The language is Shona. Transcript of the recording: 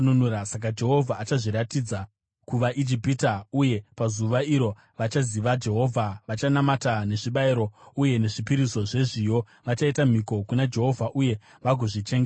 Saka Jehovha achazviratidza kuvaIjipita, uye pazuva iro vachaziva Jehovha. Vachanamata nezvibayiro uye nezvipiriso zvezviyo; vachaita mhiko kuna Jehovha uye vagodzichengeta.